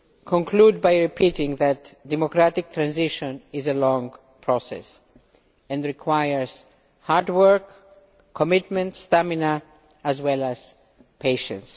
me conclude by repeating that democratic transition is a long process and requires hard work, commitment, stamina, as well as patience.